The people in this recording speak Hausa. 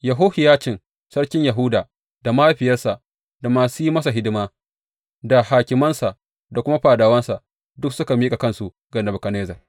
Yehohiyacin sarkin Yahuda, da mahaifiyarsa, da masu yi masa hidima, da hakimansa, da kuma fadawansa duk suka miƙa kansu ga Nebukadnezzar.